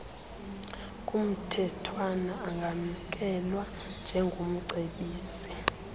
kumthethwana angamkelwa njengomcebisi